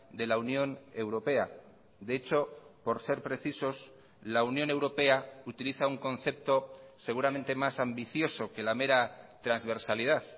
de la unión europea de hecho por ser precisos la unión europea utiliza un concepto seguramente más ambicioso que la mera transversalidad